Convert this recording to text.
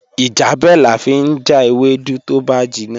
Ijebẹ̀ lán fi jà èwèdú tó bá jínna